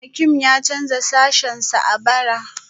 Hakim ya canza sashensa a bara